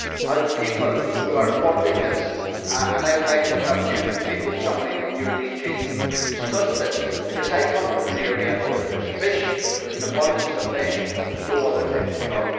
We are the people who are funding this and I would like to have an opportunity to meet with somebody from your DG to discuss this, because I come from an area where there is an abundance of fish but there is no other type of job.